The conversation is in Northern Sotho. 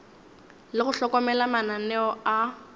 le go hlokomela mananeo a